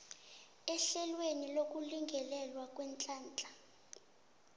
ehlelweni lokulingelelwa kweenhlahla